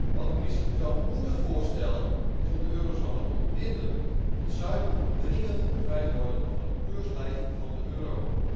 Wat de Commissie zou moeten voorstellen is om de eurozone te ontbinden, want het zuiden moet dringend bevrijd worden van het keurslijf van de euro.